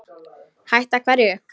Hætta hverju?